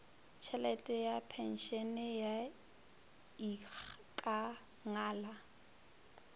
tšhelete ya phenšene ya ikangala